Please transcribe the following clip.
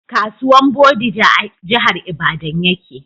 Kasuwan bodija a jahar ibadan ya ke